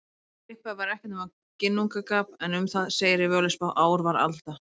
Í upphafi var ekkert nema Ginnungagap en um það segir í Völuspá: Ár var alda,